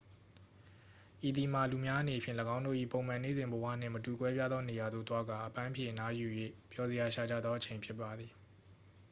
ဤသည်မှာ လူများအနေဖြင့် ၎င်းတို့၏ပုံမှန်နေ့စဉ်ဘဝနှင့်မတူကွဲပြားသောနေရာသို့သွားကာ အပန်းဖြေအနားယူ၍ ပျော်စရာရှာကြသောအချိန်ဖြစ်ပါသည်